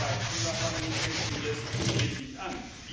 beim Klimawandel aber fängt sie erst richtig an.